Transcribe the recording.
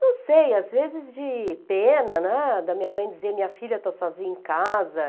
Não sei, às vezes de pena, né, da minha mãe dizer, minha filha está sozinha em casa.